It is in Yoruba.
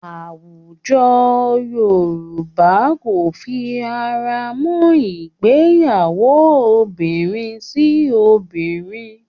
Àwùjọ Yorùbá kò fi ara mọ́ ìgbéyàwó obìnrin sí obìnrin